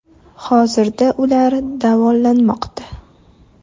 Hozirda ular davolanmoqda.